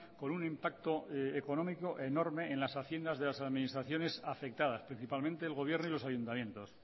con un impacto económico enorme en las haciendas de las administraciones afectadas principalmente el gobierno y los ayuntamientos